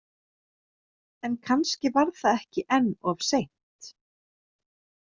En kannski var það ekki enn of seint?